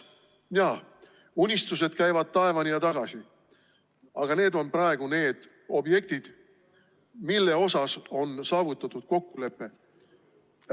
Jaa, unistused käivad taevani ja tagasi, aga need on praegu need objektid, milles on saavutatud kokkulepe.